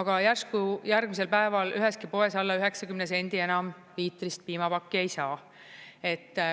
aga järsku järgmisel päeval üheski poes alla 90 sendi enam liitrist piimapakki ei saa.